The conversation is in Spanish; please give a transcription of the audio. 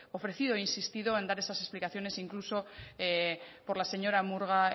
ofrecido e insistido en dar esas explicaciones incluso por la señora murga